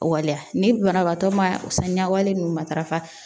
Waleya ni banabaatɔ ma saniya wale ninnu matarafa